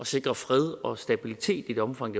sikre fred og stabilitet i det omfang